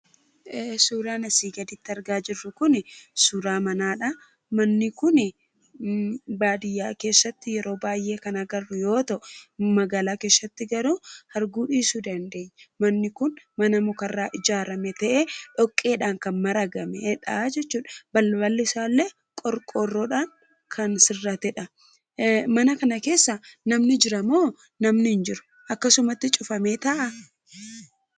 Suuraan asiin gaditti argaa jirru kun suura manaadha. Manni kun baadiyyaa keessatti kan arginu yoo ta'u magaalaa keessatti garuu arguu dhiisuu dandeenyaa. Manni kun mana muka irraa ijaarrame ta'ee kan dhoqqeen maragamee jechuudha. Balballi isaa illee qorqoorroodhaan kan sirrate jechuudha. Mana kana keessaa namni jira moo hin jiru? Akkasumatti cufamee taa'aa?